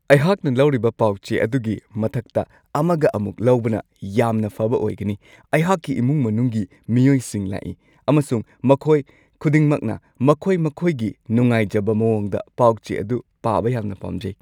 ꯑꯩꯍꯥꯛꯅ ꯂꯧꯔꯤꯕ ꯄꯥꯎ-ꯆꯦ ꯑꯗꯨꯒꯤ ꯃꯊꯛꯇ ꯑꯃꯒ ꯑꯃꯨꯛ ꯂꯧꯕꯅ ꯌꯥꯝꯅ ꯐꯕ ꯑꯣꯏꯒꯅꯤ! ꯑꯩꯍꯥꯛꯀꯤ ꯏꯃꯨꯡ ꯃꯅꯨꯡꯒꯤ ꯃꯤꯑꯣꯏꯁꯤꯡ ꯂꯥꯛꯏ, ꯑꯃꯁꯨꯡ ꯃꯈꯣꯏ ꯈꯨꯗꯤꯡꯃꯛꯅ ꯃꯈꯣꯏ ꯃꯈꯣꯏꯒꯤ ꯅꯨꯡꯉꯥꯏꯖꯕ ꯃꯋꯣꯡꯗ ꯄꯥꯎ-ꯆꯦ ꯑꯗꯨ ꯄꯥꯕ ꯌꯥꯝꯅ ꯄꯥꯝꯖꯩ ꯫